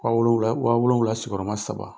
Wa wolonwula , wa wolonwula sigi yɔrɔ ma saba.